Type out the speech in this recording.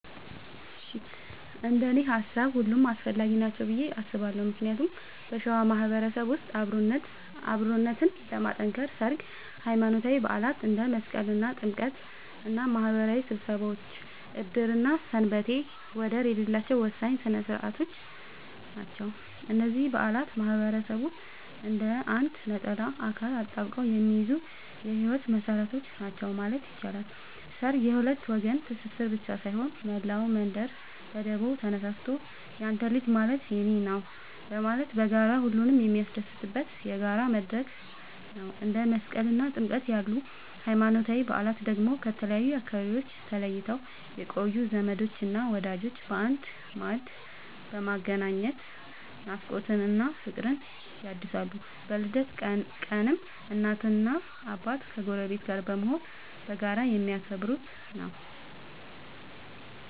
እንደኔ ሃሳብ ሁሉም አስፈላጊ ናቸው ብዬ አስባለሁ ምክንያቱም በሸዋ ማህበረሰብ ውስጥ አብሮነትን ለማጥከር ሠርግ፣ ሃይማኖታዊ በዓላት እንደ መስቀልና ጥምቀት እና ማህበራዊ ስብሰባዎች ዕድርና ሰንበቴ ወደር የሌላቸው ወሳኝ ሥነ ሥርዓቶች ናቸው። እነዚህ በዓላት ማህበረሰቡን እንደ አንድ ነጠላ አካል አጣብቀው የሚይዙ የህይወት መሰረቶች ናቸው ማለት ይቻላል። ሠርግ የሁለት ወገን ትስስር ብቻ ሳይሆን፣ መላው መንደር በደቦ ተነሳስቶ ያንተ ልጅ ማለት የኔ ነዉ በማለት በጋራ ሁሉንም የሚያስደስትበት የጋራ መድረክ ነው። እንደ መስቀልና ጥምቀት ያሉ ሃይማኖታዊ በዓላት ደግሞ ከተለያዩ አካባቢዎች ተለይተው የቆዩ ዘመዶችንና ወዳጆችን በአንድ ማዕድ በማገናኘት ናፍቆትን እና ፍቅርን ያድሳሉ። በልደት ቀንም እናትና አባት ከጎረቤት ጋር በመሆን በጋራ የሚያከብሩት ነዉ።